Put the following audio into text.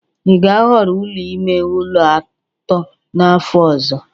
ị ga-ahọrọ ụlọ ime ụlọ atọ n'afọ ọzọ?